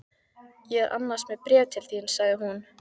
Ég er annars með bréf til þín sagði hún.